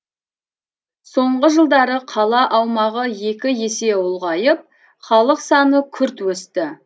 соңғы жылдары қала аумағы екі есе ұлғайып халық саны күрт өсті